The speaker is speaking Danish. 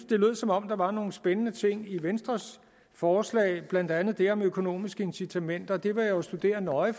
det lød som om der var nogle spændende ting i venstres forslag blandt andet det om økonomiske incitamenter det vil jeg studere nøje